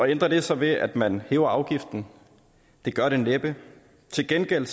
ændrer det sig ved at man hæver afgiften det gør det næppe til gengæld